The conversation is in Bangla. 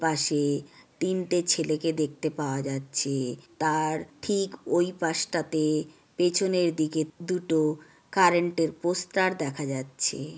পাশে-এ তিনটে ছেলেকে দেখতে পাওয়া যাচ্ছে-এ তার ঠিক ওই পাশটাতে পেছনের দিকে দুটো কারেন্ট -এর পোস্টার দেখা যাচ্ছে-এ।